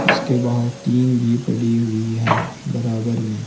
इसके बाहर टीन भी पड़ी हुई है बराबर में।